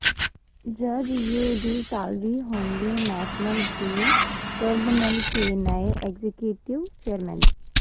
جج U D Salvi ہوں گے نیشنل گرین ٹریبونل کے نئے ایگزیکیوٹیو چیئرمین